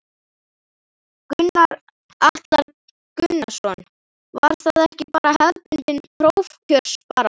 Gunnar Atli Gunnarsson: Var það ekki bara hefðbundin prófkjörsbarátta?